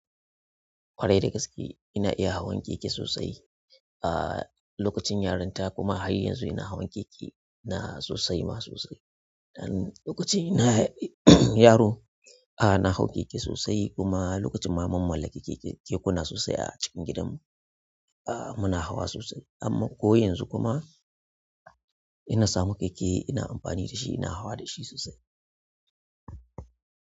Ƙwarai da gaske ina iya hawan keke sosai. Ah lokacin yarinta kuma har yanzu ina hawan keke na sosai ma sosai. Lokacin ina yaro, ah na hau keke sosai kuma lokacin ma mun mallaki keke, kekuna sosai a cikin gidan mu. Ah muna hawa sosai amma ko yanzu kuma ina samu keke ina amfani da shi ina hawa da shi sosai.